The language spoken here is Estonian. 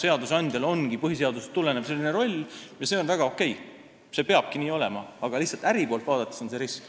Seadusandjal ongi põhiseadusest tulenev selline roll ja see on väga okei, nii peabki olema, aga lihtsalt äri poolt vaadates on see risk.